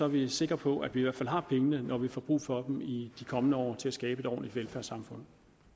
vi sikre på at vi i hvert fald har pengene når vi får brug for dem i de kommende år til at skabe et ordentligt velfærdssamfund